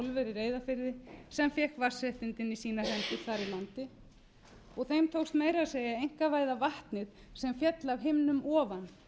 reyðarfirði sem fékk vatnsréttindin í sínar hendur þar í landi þeim tókst meira að segja að einkavæða vatnið sem féll af himnum ofan